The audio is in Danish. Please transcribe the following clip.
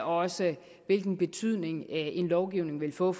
også hvilken betydning en lovgivning vil få